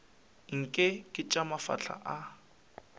nke ke tša mafahla a